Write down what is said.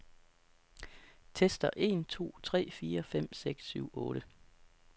Tester en to tre fire fem seks syv otte.